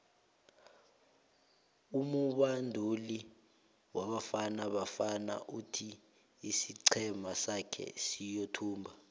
umubanduli webafana bafana uthi isiqhema sake siyothumba